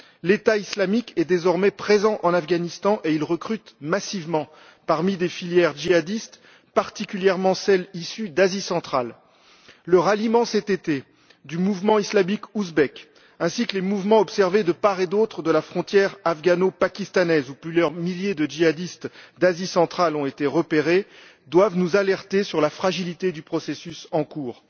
L'État islamique est désormais présent en Afghanistan et il recrute massivement parmi des filières djihadistes, particulièrement celles issues d'Asie centrale. Le ralliement, cet été, du mouvement islamique ouzbek, ainsi que les mouvements observés de part et d'autre de la frontière afghano pakistanaise, où plusieurs milliers de djihadistes d'Asie centrale ont été repérés doivent nous alerter sur la fragilité du processus en cours.